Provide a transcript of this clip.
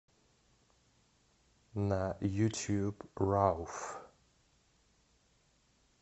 на ютьюб рауф